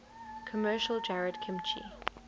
commercial jarred kimchi